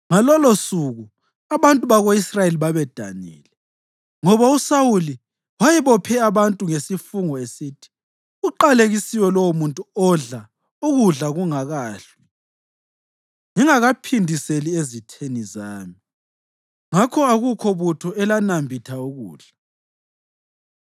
Ngalolosuku abantu bako-Israyeli babedanile ngoba uSawuli wayebophe abantu ngesifungo esithi, “Uqalekisiwe lowomuntu odla ukudla kungakahlwi, ngingakaphindiseli ezitheni zami!” Ngakho akukho butho elanambitha ukudla.